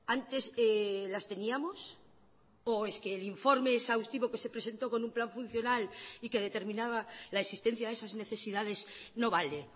antes las teníamos o es que el informe exhaustivo que se presentó con un plan funcional y que determinaba la existencia de esas necesidades no vale